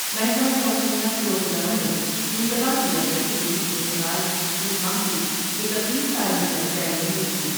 محکمہ موسمیات کے عہدیداروں نے انتباہ دیا ہے کہ یہی صورت حال اس ماہ کی اکتیس تاریخ تک جاری رہے گی ۔